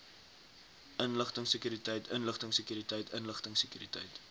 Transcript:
inligtingsekuriteit inligtingsekuriteit inligtingsekuriteit